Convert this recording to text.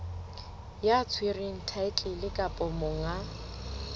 ya tshwereng thaetlele kapa monga